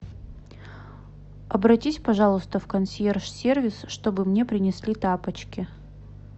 обратись пожалуйста в консьерж сервис чтобы мне принесли тапочки